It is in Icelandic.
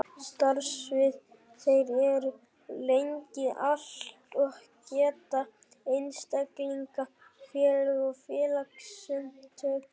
Starfsvið þeirra er landið allt og geta einstaklingar, félög og félagasamtök orðið aðilar að þeim.